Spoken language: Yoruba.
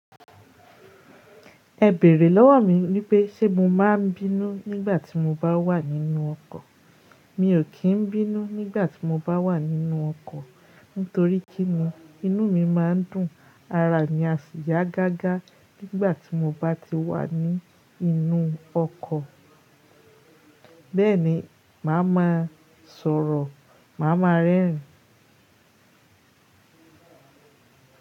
Ẹ bèrè lọ́wọ́ mi wípé ṣe mo máa ń bínú nígbà tí mo bá wà nínú ọkọ̀. Mi ò kí ń bínú nígbà tí mo bá wà nínú ọkọ̀. Nítorí kín ni, inú mi má ń dùn, ara mi á sì yá gágá nígbà tí mo bá ti wà ní inú ọkọ̀. Bẹ́ẹ̀ ni, màá ma sọ̀rọ̀, màá ma rẹ́rìn.